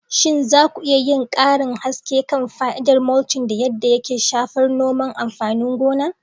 Shin za ku iya yin karin haske kan fa'idar mulching da yadda yake shafar noman amfanin gona?